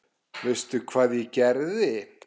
Veistu hvað ég geri?